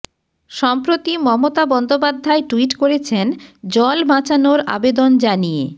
সম্প্রতি মমতা বন্দ্যোপাধ্যায় টুইট করেছেন জল বাঁচানোর আবেদন জানিয়ে